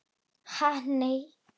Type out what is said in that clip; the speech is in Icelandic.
Ha nei.